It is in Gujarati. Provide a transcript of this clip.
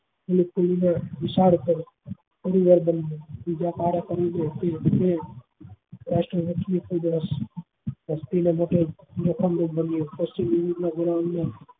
તુ પરિવાર બન્યો